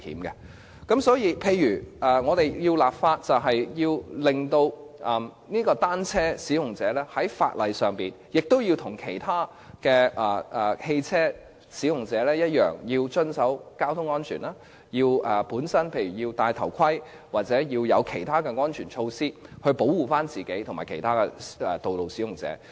因此，在制定法例時，單車使用者必須與其他汽車使用者一樣，要遵守交通安全，也要佩戴安全頭盔及採取安全措施保護自己和其他道路使用者。